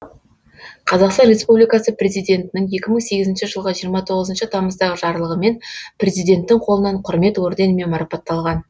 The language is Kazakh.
қазақстан республикасы президентінің екі мың сегізінші жылғы жиырма тоғызыншы тамыздағы жарлығымен президенттің қолынан құрмет орденімен марапатталған